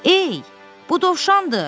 Ey, bu dovşandır.